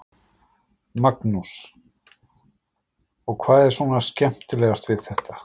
Magnús: Og hvað er svona skemmtilegast við þetta?